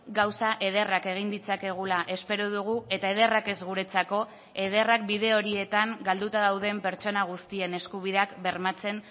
gauza ederrak egin ditzakegula espero dugu eta ederrak ez guretzako ederrak bide horietan galduta dauden pertsona guztien eskubideak bermatzen